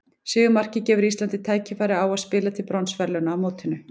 Sigurmarkið gefur Íslandi tækifæri á að spila til bronsverðlauna á mótinu.